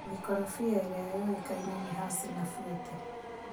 Mĩkorofia ĩrĩa ĩyokaine nĩ hasi na Futĩ.